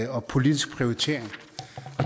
og politisk prioritering